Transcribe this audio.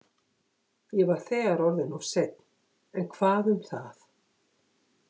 Ég var þegar orðinn of seinn, en hvað um það?